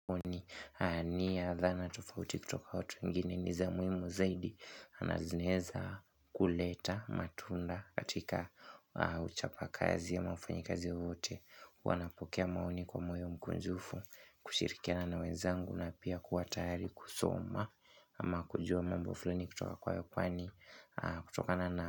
Ni ya dhana tofauti kutoka watu wengine ni za muhimu zaidi na zinaeza kuleta matunda katika ah uchapa kazi mwa wafanyi kazi wote wanapokea maoni kwa moyo mkunjufu kushirikiana na wenzangu na pia kuwa tayari kusoma Ama kujua mambo fulaini kutoka kwayo ah kwani kutokana na.